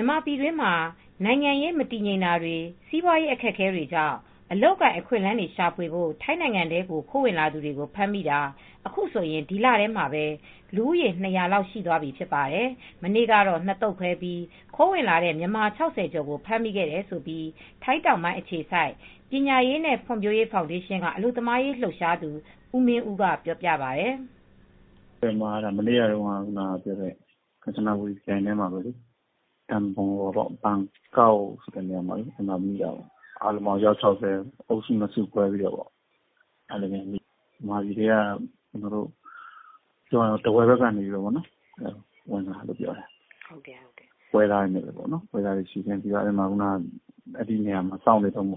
ြန်မာပြည်တွင်းမှာ နိုင်ငံရေးမတည်ငြိမ်တာတွေ စီးပွားရေးအခက်အခဲတွေကြောင့် အလုပ်အကိုင် အခွင့်အလမ်းတွေ ရှာဖွေဖို့ ထိုင်းနိုင်ငံထဲကို ခိုးဝင်လာသူတွေကို ဖမ်းမိတာ အခုဆိုရင် ဒီလထဲမှာပဲ လူဦးရေ ၂၀၀ လောက် ရှိသွားပြီ ဖြစ်ပါတယ်။ မနေ့ကတော့ ၂ သုတ်ခွဲပြီး ခိုးဝင်လာတဲ့ မြန်မာ ၆၀ ကျော်ကို ဖမ်းမိခဲ့တယ်လို့ ထိုင်းတောင်ပိုင်းအခြေစိုက်ပညာရေးနဲ့ ဖွံ့ဖြိုးရေးဖောင်ဒေးရှင်းက အလုပ်သမားရေး လှုပ်ရှားသူ ဦးမင်းဦးက အခုလိုပြောပါတယ်။ "မနေ့ကတုန်းက ကန်ချနာဘူရီခရိုင်ထဲမှာပဲ BAN KAO ဆိုတဲ့နေရာမိတာ အားလုံးပေါင်း အယောက် ၆၀ ပါ မြန်မာပြည်ထဲကလာတာ အုပ်စု ၂ စု ခွဲပြီးမိတာ။ မြန်မာပြည်ဘက်ကနေ ထားဝယ်ဘက်က ဝင်လာတယ်လို့ ပြောတယ်။ ပွဲစားတွေနဲ့ အားလုံးကို စောင့်နေတုန်းအ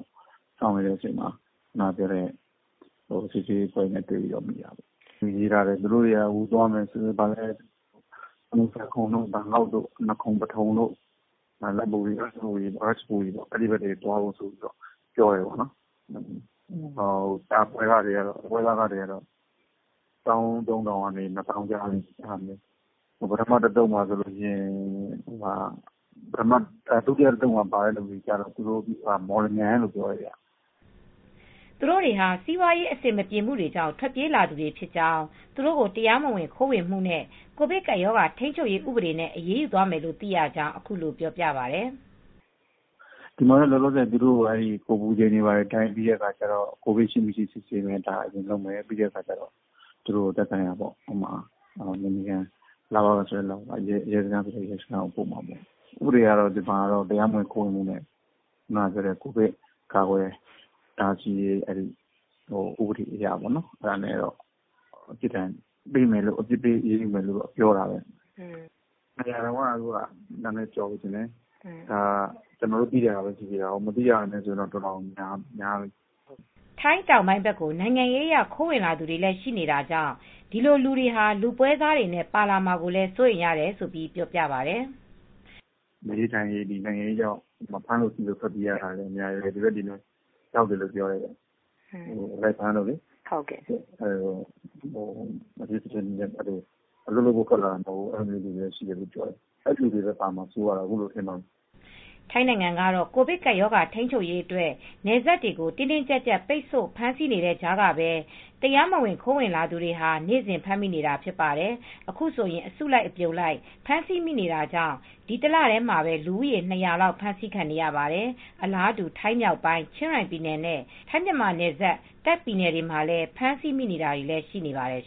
ချိန်မှာ စစ်ဆေးရေးအဖွဲ့က တွေ့ပြီး မိတာ။ သူတို့က သွားမယ်ဆို နကွန်စဝမ်တို့၊ စမုတ်ဆာခွန်းတို့၊ ပထုံဌာနီတို့၊ နကွန်ပထုံတို့၊ ရာချ်ဘူရီတို့ အဲဒီဘက်တွေ သွားဖို့ ပြောတယ်။ ပွဲစားခကတော့ တဦးကို ဘတ်ငွေ ၁၃,၀၀၀ လောက်ကနေ ၂၀,၀၀၀ လောက်ထိကျတယ်။ ဒုတိယအုပ်စုကတော့ မော်လမြိုင်ဘက်ကလိုပြောတယ်။" သူတို့တွေဟာ စီးပွားရေးအဆင်မပြေမှုတွေကြောင့် ထွက်ပြေးလာသူတွေဖြစ်ကြောင်း သူတို့ကို တရားမဝင်ခိုးဝင်မှုနဲ့ ကိုဗစ်ကပ်ရောဂါထိန်းချုပ်ရေး ဥပဒေနဲ့ အရေးယူသွားမယ်လို့ သိရကြောင်း အခုလိုပြောပါတယ်။ "သူတို့ကိုတော့ ဝင်လာတာနဲ့ အပူချိန်တိုင်းမယ်။ ကိုဗစ်ရှိ၊ မရှိ စစ်မယ်။ ပြီးရင် သက်ဆိုင်ရာနယ်ခြေခံ ရဲစခန်းတို့၊ လဝကတို့ကိုပို့မယ်။ ဥပဒေအရတော့ တရားမဝင်ခိုးဝင်မှုရယ်၊ ကိုဗစ်ကာကွယ်တားဆီးတဲ့ ဥပဒေအရ အပြစ်ပေး အရေးယူမယ်လို့ ပြောတယ်။ ၂၀၀ ကျော်ပြီထင်တယ်။ ကျနော်တို့ သိတာပဲ ရှိသေးတာ။ မသိတာဆိုရင်တော့ တော်တော်များများတယ်။" ထိုင်းတောင်ပိုင်းဘက်ကို နိုင်ငံရေးအရ ခိုးဝင်လာသူတွေလည်း ရှိနေတာကြောင့် ဒီလိုလူတွေဟာ လူပွဲစားတွေနဲ့ ပါလာမှာကို စိုးရိမ်ရတယ်လို့ ပြောပါတယ်။ "နေရေး၊ ထိုင်ရေးနိုင်ငံရေးကြောင့် ဖမ်းတာဆီးမှာကြောင့် ထွက်ပြေးရသူတွေလည်း ရှိတယ်။ အဲဒီလိုတွေလည်း ရောက်လာကြတယ်ပြောတယ်။ အခုလိုဖြစ်တော့ အဲဒီလူတွေပဲပါလာမှာစိုးရိမ်ရတယ်။" ထိုင်းနိုင်ငံကတော့ ကိုဗစ်ကပ်ရောဂါ ထိန်းချုပ်ရေးအတွက် နယ်စပ်တွေကို တင်းတင်းကြပ်ကြပ် ပိတ်ဆို့ ဖမ်းဆီးနေတဲ့ကြားကပဲ တရားမဝင်ခိုးဝင်လာသူတွေဟာ နေ့စဉ်ဖမ်းမိနေတာဖြစ်ပါတယ်။ အခုဆိုရင် အစုလိုက်အပြုံလိုက် ဖမ်းဆီးမိနေတာကြောင့် ဒီတလထဲမှာပဲ လူဦးရေ ၂၀၀ လောက် ဖမ်းဆီးခံနေရပါတယ်။ အလားတူ ထိုင်းမြောက်ပိုင်း ချင်းရိုင်ပြည်နယ် ထိုင်းနယ်စပ် တာ့ခ်ပြည်နယ်တွေမှာလည်း ဖမ်းဆီးမိနေတာတွေလည်း ရှိနေပါတယ်